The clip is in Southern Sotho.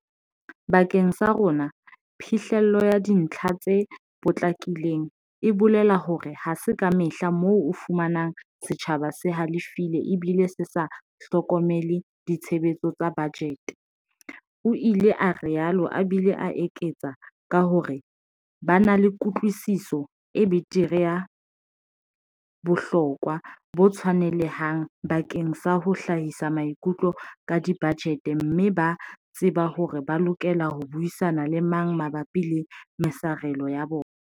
"Bakeng sa rona, phihlello ya dintlha tse potlakileng e bolela hore ha se kamehla moo o fumanang setjhaba se halefile ebile se sa hlokomele ditshebetso tsa bajete, o ile a rialo a bile a eketsa ka hore ba na le kutlwisiso e betere ya bohlokwa bo tshwanelehang bakeng sa ho hlahisa maikutlo ka dibajete mme ba tseba hore ba lokela ho buisana le mang mabapi le mesarelo ya bona."